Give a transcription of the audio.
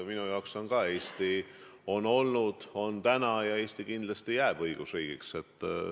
Minu jaoks on Eesti olnud, on täna ja kindlasti ka jääb õigusriigiks.